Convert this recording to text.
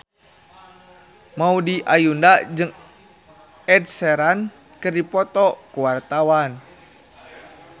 Maudy Ayunda jeung Ed Sheeran keur dipoto ku wartawan